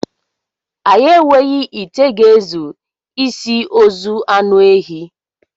Anyị enweghị ite ga-ezu isi ozu any ehi